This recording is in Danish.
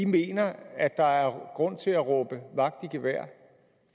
mener at der er grund til at råbe vagt i gevær